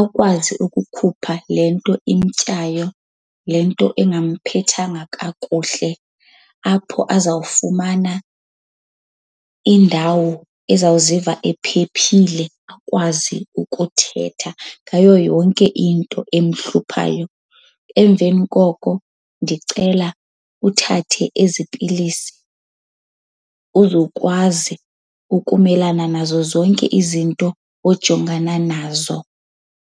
Akwazi ukukhupha le nto imtyayo, le nto engamphathanga kakuhle. Apho azawufumana indawo ezawuziva ephephile, akwazi ukuthetha ngayo yonke into emhluphayo. Emveni koko ndicela uthathe ezi pilisi uzokwazi ukumelana nazo zonke izinto ojongana nazo.